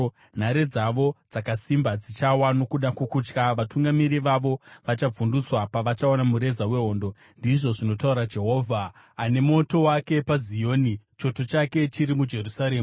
Nhare dzavo dzakasimba dzichawa nokuda kwokutya; vatungamiri vavo vachavhundutswa pavachaona mureza wehondo,” ndizvo zvinotaura Jehovha, ane moto wake paZioni choto chake chiri muJerusarema.